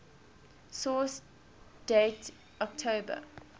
source date october